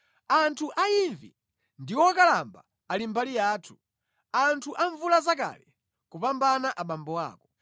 Anthu a imvi ndi okalamba ali mbali yathu, anthu amvulazakale kupambana abambo ako.